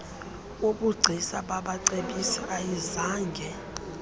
wobugcisa babacebisi ayizange